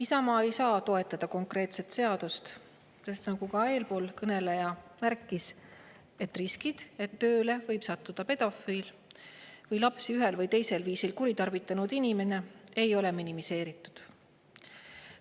Isamaa ei saa seda seaduseelnõu toetada, sest nagu eelkõneleja märkis, riskid, et tööle võib sattuda pedofiil või lapsi ühel või teisel viisil kuritarvitanud inimene, ei ole minimeeritud.